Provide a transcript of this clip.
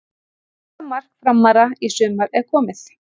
Fyrsta mark Framara í sumar er komið.